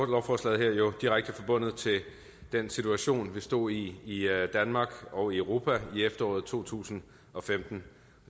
lovforslaget her jo direkte forbundet til den situation vi stod i i danmark og i europa i efteråret to tusind og femten